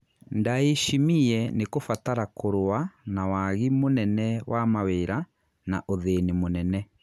Ndayishimiye nĩ kũbatara kũrũa kũrũa na wagi mũnene wa mawĩra na ũthĩni mũnene.